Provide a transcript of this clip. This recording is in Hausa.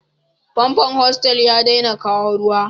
Famfon hostel ya ɗaina kawo Ruwa.